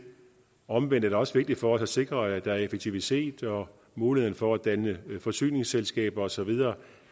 omvendt er det også vigtigt for os at sikre at der er effektivitet og mulighed for at danne forsyningsselskaber og så videre